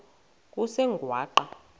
kusengwaqa